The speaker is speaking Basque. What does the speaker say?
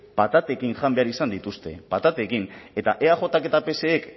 patatekin jan behar izan dituzte patatekin eta eajk eta psek